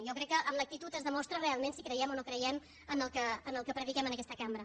jo crec que amb l’actitud es demostra realment si creiem o no creiem en el que prediquem en aquesta cambra